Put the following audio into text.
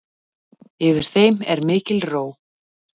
Yfir þeim er mikil ró.